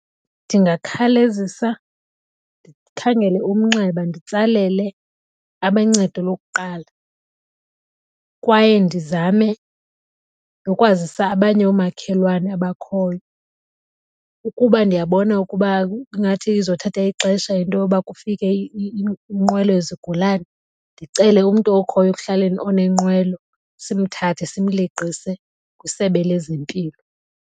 Ndingakhalezisa ndikhangele umnxeba nditsalele abencedo lokuqala kwaye ndizame nokwazisa abanye oomakhelwane abakhoyo. Ukuba ndiyabona ukuba ingathi izothatha ixesha into yoba kufike inqwelo yezigulane ndicele umntu okhoyo ekuhlaleni onenqwelo simthathe simleqise kwisebe lezempilo.